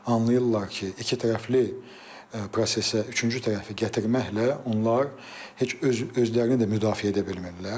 Anlayırlar ki, ikitərəfli prosesə üçüncü tərəfi gətirməklə onlar heç özlərini də müdafiə edə bilmirlər.